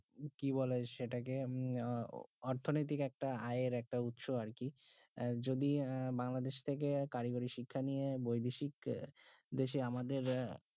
কি বলে সেটাকে আহ অর্থনৈতিক একটা আয়ের একটা উৎস আরকি আহ যদি আহ বাংলাদেশ থেকে কারিগরি শিক্ষা নিয়ে বৈদেশিক দেশে আমাদের